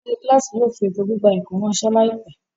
Olórí kíláàsì yóò fi ètò gbígba ẹ̀kọ́ ráńṣẹ́ láìpẹ́.